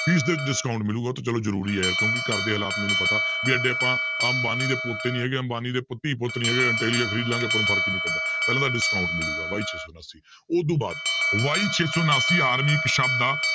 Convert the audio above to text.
fees ਦੇ ਵਿੱਚ discount ਮਿਲੇਗਾ ਉਹ ਤਾਂ ਚਲੋ ਜ਼ਰੂਰੀ ਹੈ ਕਿਉਂਕਿ ਘਰਦੇ ਹਾਲਾਤ ਮੈਨੂੰ ਪਤਾ ਵੀ ਇੱਡੇ ਆਪਾਂ ਅੰਬਾਨੀ ਦੇ ਪੋਤੇ ਨੀ ਹੈਗੇ ਅੰਬਾਨੀ ਦੇ ਧੀ ਪੁੱਤ ਨੀ ਹੈਗੇ ਆਪਾਂ ਨੂੰ ਫ਼ਰਕ ਨੀ ਪੈਂਦਾ ਪਹਿਲਾਂ ਤਾਂ discount ਮਿਲੇਗਾ y ਛੇ ਸੌ ਉਣਾਸੀ ਉਹਤੋਂ ਬਾਅਦ y ਛੇ ਸੌ ਉਣਾਸੀ army ਇੱਕ ਸ਼ਬਦ ਆ